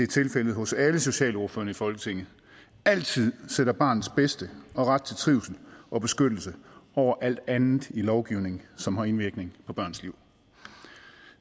tilfældet med alle andre socialordførere i folketinget altid sætter barnets bedste og ret til trivsel og beskyttelse over alt andet i lovgivning som har indvirkning på børns liv